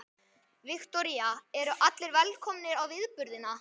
Viktoría: Eru allir velkomnir á viðburðina?